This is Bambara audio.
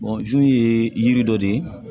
ye yiri dɔ de ye